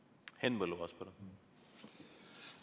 Henn Põlluaas, palun!